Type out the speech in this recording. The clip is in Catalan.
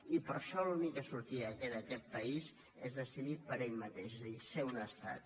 i per això l’única sortida que li queda a aquest país és decidir per ell mateix és a dir ser un estat